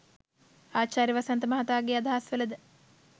ආචාර්ය වසන්ත මහතාගේ අදහස් වල ද